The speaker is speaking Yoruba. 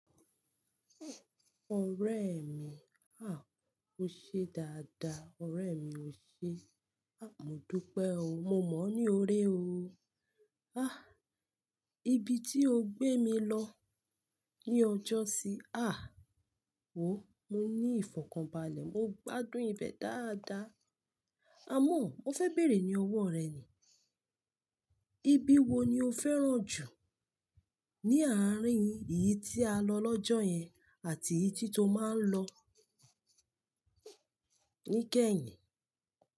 Ọ̀rẹ́ mi, ah, o ṣe dáadáa. Ọ̀rẹ́ mi o ṣe, ah, mo dúpẹ́ o. Mo mọ̀ ọ́ ní ọ̀rẹ́ o. Ah, ibi tí o gbé mi lọ ní ọjọ́ sí, ah, wò ó, mo ní ìfọ̀kànbalẹ̀. Mo gbádùn ibẹ̀ dáadáa. Àmọ́, mo fẹ́ bèrè ní ọwọ́ rẹ ni. Ibi wo ni o fẹ́ràn jù ní àárín èyí tí a lọ lọ́jọ́ yẹn àti èyí tí to máa ń lọ níkẹyìn?